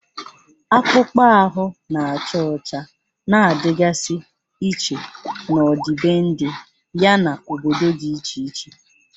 Akpụkpọ ahụ na-acha ọcha na-adịgasị iche n'ọdịbendị, yana obodo dị iche iche.